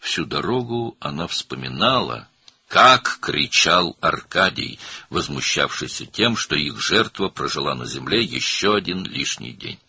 Bütün yol boyu Arkadinin necə qışqırdığını, onların qurbanının yer üzündə daha bir artıq gün yaşadığına necə hiddətləndiyini xatırladı.